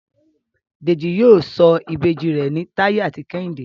Deji yíò sọ Ìbejì rẹ ní Taye àti Kehinde.